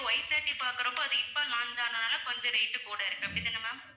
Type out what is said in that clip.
Y thirty பார்க்கிறப்ப அது இப்ப launch ஆனதனால கொஞ்சம் rate கூட இருக்கு அப்படி தான ma'am